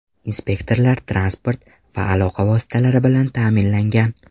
Inspektorlar transport va aloqa vositalari bilan ta’minlangan.